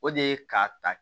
O de ye ka ta